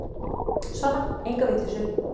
Sona, enga vitleysu.